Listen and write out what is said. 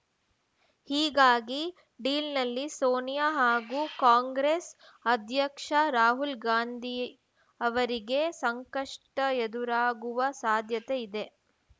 ಹೀಗಾಗಿ ಡೀಲ್‌ನಲ್ಲಿ ಸೋನಿಯಾ ಹಾಗೂ ಕಾಂಗ್ರೆಸ್‌ ಅಧ್ಯಕ್ಷ ರಾಹುಲ್‌ ಗಾಂಧಿ ಅವರಿಗೆ ಸಂಕಷ್ಟ ಎದುರಾಗುವ ಸಾಧ್ಯತೆ ಇದೆ